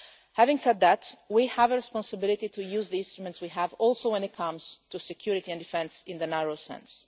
Having said that, we also have a responsibility to use the instruments we have when it comes to security and defence in the narrow sense.